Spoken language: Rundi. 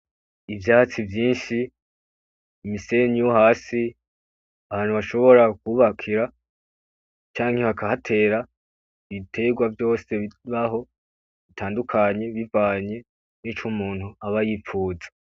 Ivyatsi vyinshi, umusenyi wo hasi, ahantu bashobora kubakira, canke bakahatera ibiterwa vyose bibaho, bitandukanye bivanye nico umuntu aba yipfuza .